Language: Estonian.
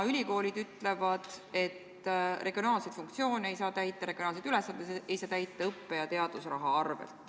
Ülikoolid nimelt ütlevad, et regionaalseid ülesandeid ei saa täita õppe- ja teadusraha arvel.